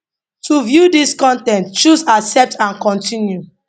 to view dis con ten t choose accept and continue